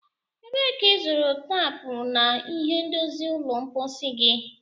Ebee ka ịzụrụ taapu na ihe ndozi ụlọ mposi gị?